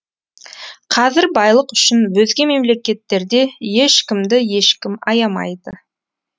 қазір байлық үшін өзге мемлекеттерде ешкімді ешкім аямайды